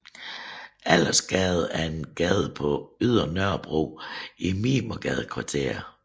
Allersgade er en gade på Ydre Nørrebro i Mimersgadekvarteret